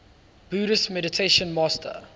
buddhist meditation master